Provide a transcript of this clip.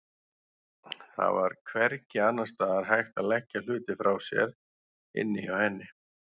Það var hvergi annars staðar hægt að leggja hluti frá sér inni hjá henni.